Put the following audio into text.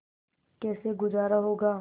कैसे गुजारा होगा